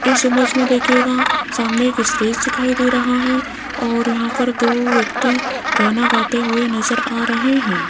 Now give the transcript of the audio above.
इस इमेज में देखिएगा सामने एक स्टेज दिखाई दे रहा है और यहां पर दो व्यक्ति गाना गाते हुए नजर आ रहे हैं।